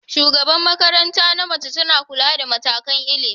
Shugabar makaranta na mace tana kula da matakan ilimi.